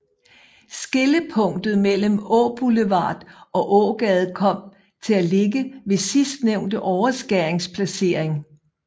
Skillepunktet mellem Åboulevard og Ågade kom til at ligge ved sidstnævnte overskærings placering